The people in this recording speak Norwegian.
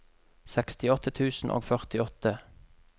sekstiåtte tusen og førtiåtte